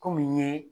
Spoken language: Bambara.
Kɔmi n ye